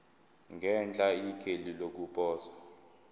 ngenhla ikheli lokuposa